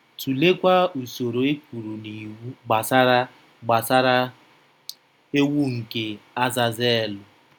Tụleekwa usoro e kwuru n'iwu gbasara gbasara ewu nke Azazelu.